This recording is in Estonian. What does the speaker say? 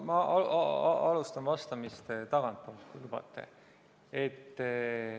Ma alustan vastamist tagantpoolt, kui lubate.